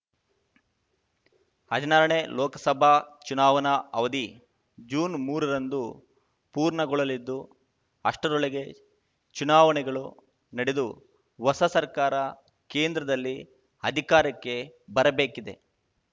ಹದಿನಾರನೇ ಲೋಕಸಭಾ ಚುನಾವಣಾ ಅವಧಿ ಜೂನ್ ಮೂರರಂದು ಪೂರ್ಣಗೊಳ್ಳಲಿದ್ದು ಅಷ್ಟರೊಳಗೆ ಚುನಾವಣೆಗಳು ನಡೆದು ಹೊಸ ಸರ್ಕಾರ ಕೇಂದ್ರದಲ್ಲಿ ಅಧಿಕಾರಕ್ಕೆ ಬರಬೇಕಿದೆ